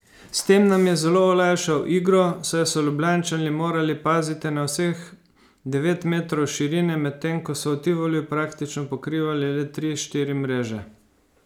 S tem nam je zelo olajšal igro, saj so Ljubljančani morali paziti na vseh devet metrov širine, medtem ko so v Tivoliju praktično pokrivali le tri, štiri mreže.